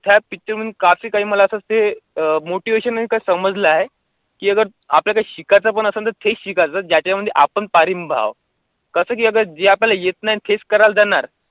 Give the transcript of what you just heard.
त्या picture मध्ये आहे मला असं ते अं motivation आहे ते समजलं आहे, की अगर आपल्याला शिकायचं पण असेल तर तेच शिकायचं जर त्याच्यामध्ये आपण पारंगत आहोत, कसं की अगर जे आपल्याला येतं नाही तेच करायला जाणार